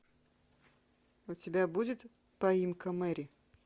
у тебя будет поимка мэри